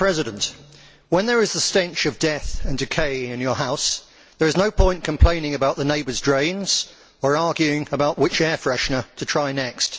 Mr President, when there is a stench of death and decay in your house, there is no point complaining about the neighbour's drains or arguing about which air freshener to try next.